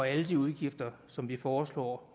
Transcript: alle de udgifter som vi foreslår